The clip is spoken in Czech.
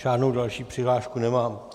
Žádnou další přihlášku nemám.